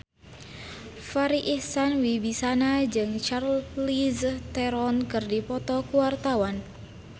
Farri Icksan Wibisana jeung Charlize Theron keur dipoto ku wartawan